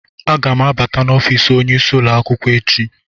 Aga m abata n'ọfịs onyeisi ụlọ akwụkwọ echi.